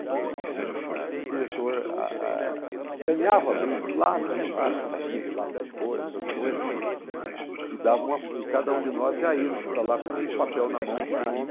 Então o diretor a a a ganhava brindes, lápis, borracha, caixinha de lápis de cor, essas coisas, e dava uma e cada um de nós já íamos para lá com um papel na mão com o nome